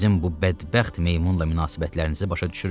Sizin bu bədbəxt meymunla münasibətlərinizi başa düşürəm.